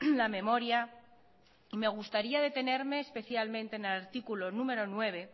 la memoria y me gustaría detenerme especialmente en el artículo número nueve